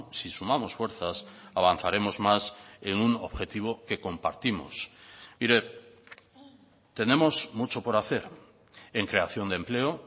si sumamos fuerzas avanzaremos más en un objetivo que compartimos mire tenemos mucho por hacer en creación de empleo